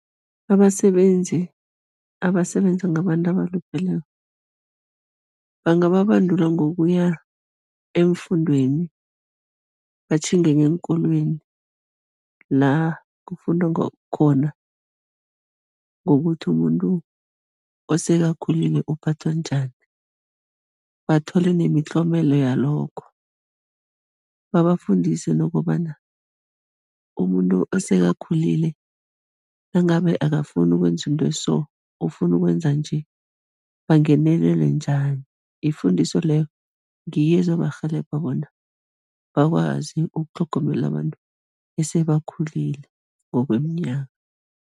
Abasebenzi abasebenza ngabantu abalupheleko, bangababandula ngokuya eemfundweni, batjhinge ngeenkolweni la kufundwa ngakhona ngokuthi umuntu osekakhulile uphathwa njani, bathole nemitlomela yalokho. Babafundise nokobana umuntu osekakhulile, nangabe akafuni ukwenza into eso, ofuna ukwenza nje, bangenelele njani, ifundiso leyo ngiyo ezobarhelebha bona bakwazi ukutlhogomela labantu esebakhulile ngokweminyaka.